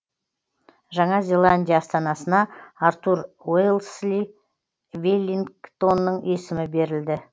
жаңа зеландия астанасына артур уэлсли веллингтонның есімі берілді